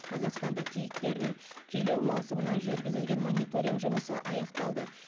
қазақстанда киіктердің күйлеу маусымына жүргізілген мониторинг жұмысы аяқталды